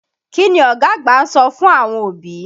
Kí ni ọ̀gá àgbà ń sọ fún àwọn òbí?